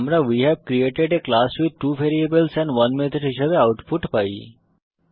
আমরা we have created a class with 2 variables and 1 method হিসাবে output পাই